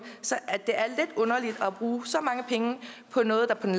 at at bruge så mange penge på noget der på det